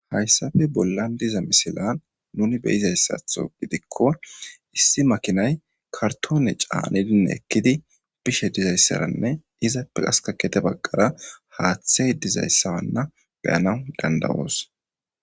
Hayssafe bollan diza misilan nuni be izayssatho gidikko issi makinay kartoone caanidinne ekkidi bishe dizayssaranne izappe askakete baggara haaththey dizayssawanna beyana dandawoos